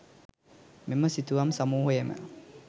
මෙම සිතුවම් සමූහයම